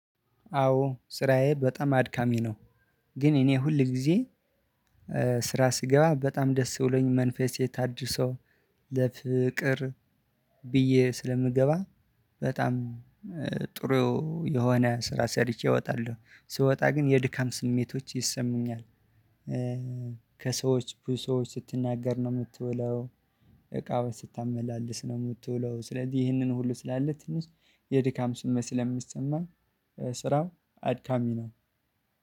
አዎ ስራዬ በጣም አድካሚ ነው። ግን እኔ ሁል ጊዜ ስራ ስገባ በጣም ደስ ብሎኝ ይለኛል መንፈሴ ታድሶ። በፍቅር ብዬ ስለምገባ በጣም ጥሩ የሆነ ስራ ሰርቼ እወጣለሁ። ስወጣ ግን የድካም ስሜቶች ይሰሙኛል። ከሰዎች ብዙ ሰዎች ስትናገር ነው የምትውለው እቃዎች ስታመላልስ ነው የምትውለው። ስለዚህ ይህንን ሁሉ ስላለ ትንሽ የድካም ስሜት ስለሚሰማህ ስራው አድካሚ ነው።